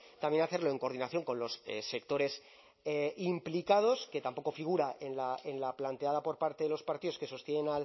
también hacerlo en coordinación con los sectores implicados que tampoco figura en la planteada por parte de los partidos que sostienen